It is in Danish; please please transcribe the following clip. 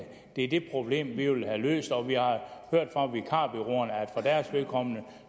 det er det problem vi vil have løst og vi har hørt fra vikarbureauerne at for deres vedkommende